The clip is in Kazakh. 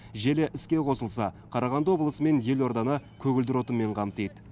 желі іске қосылса қарағанды облысы мен елорданы көгілдір отынмен қамтиды